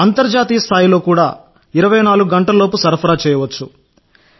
అంతర్జాతీయస్థాయి సరఫరా కూడా 24 గంటలలోపు చేయవచ్చు